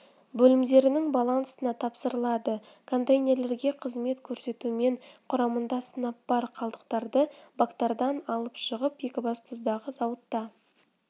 бөлімдерінің балансына тапсырылады контейнерлерге қызмет көрсетумен құрамында сынап бар қалдықтарды бактардан алып шығып екібастұздағы зауытта